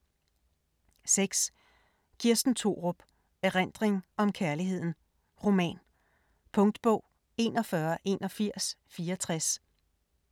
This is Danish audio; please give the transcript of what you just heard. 6. Thorup, Kirsten: Erindring om kærligheden: roman Punktbog 418164